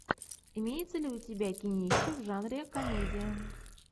имеется ли у тебя кинище в жанре комедия